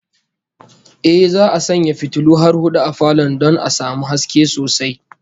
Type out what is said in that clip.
Ehh, za'a sanya fitulu har hudu a falon don a samu haske sosai